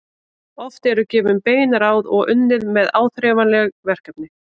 Oft eru gefin bein ráð og unnið með áþreifanleg verkefni.